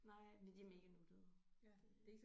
Nej men de er mega nuttede det